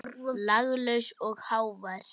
Laglaus og hávær.